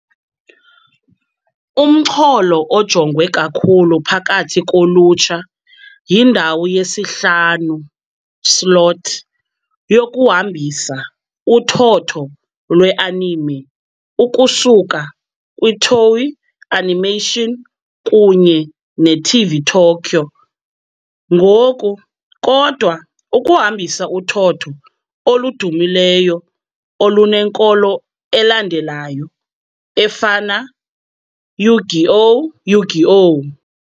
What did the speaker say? Umxholo ojongwe kakhulu phakathi kolutsha yindawo ye-17:00 slot, yokuhambisa uthotho lwe-anime ukusuka kwiToei Animation kunye neTV Tokyo, ngokukodwa ukuhambisa uthotho oludumileyo olunenkolo elandelayo efana Yu-Gi -Oh!, Yu-Gi-Oh!